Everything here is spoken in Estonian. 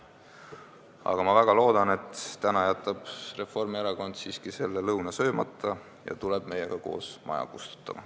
Aga ma väga loodan, et täna jätab Reformierakond selle lõuna siiski söömata ja tuleb meiega koos maja kustutama.